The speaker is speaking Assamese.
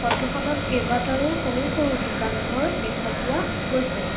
ফটো খনত কেইবাটাৰো সৰু সৰু দোকান ঘৰ দেখা পোৱা গৈছে।